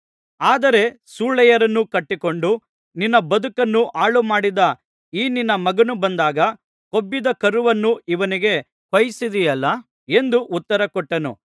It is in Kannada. ಆದರೆ ಸೂಳೆಯರನ್ನು ಕಟ್ಟಿಕೊಂಡು ನಿನ್ನ ಬದುಕನ್ನು ಹಾಳುಮಾಡಿದ ಈ ನಿನ್ನ ಮಗನು ಬಂದಾಗ ಕೊಬ್ಬಿದ ಕರುವನ್ನು ಇವನಿಗೆ ಕೊಯ್ಸಿದಿಯಲ್ಲಾ ಎಂದು ಉತ್ತರಕೊಟ್ಟನು